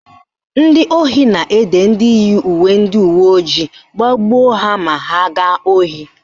Ndị ohi na-ede ndị yi uwe ndị uweojii iji gbagbuo ha ma ha gaa ohi